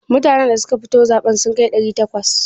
Mutanan da suka fito zaɓe sun kai ɗari takwas?